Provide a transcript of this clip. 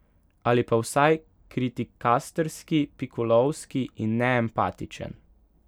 Ali pa vsaj kritikastrski, pikolovski in neempatičen.